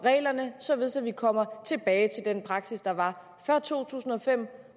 reglerne således at vi kommer tilbage til den praksis der var før to tusind og fem